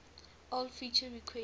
old feature requests